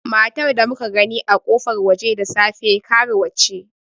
Matar da muka gani a kofar waje da safe, karuwa ce.